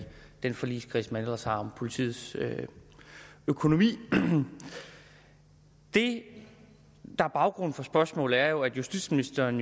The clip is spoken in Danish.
den forligskreds man ellers har om politiets økonomi det der er baggrunden for spørgsmålet er at justitsministeren